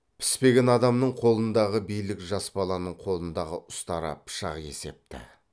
піспеген адамның қолындағы билік жас баланын қолындағы ұстара пышақ есепті